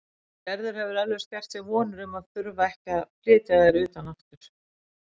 Gerður hefur eflaust gert sér vonir um að þurfa ekki að flytja þær utan aftur.